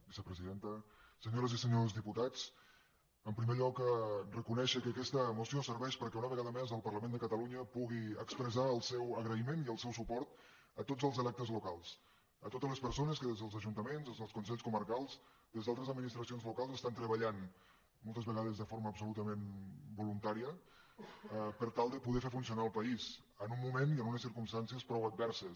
vicepresidenta senyores i se·nyors diputats en primer lloc reconèixer que aquesta moció serveix perquè una vegada més el parlament de catalunya pugui expressar el seu agraïment i el seu suport a tots els electes locals a totes les persones que des dels ajuntaments des dels consells comarcals des d’altres administracions locals estan treballant mol·tes vegades de forma absolutament voluntària per tal de poder fer funcionar el país en un moment i en unes circumstàncies prou adverses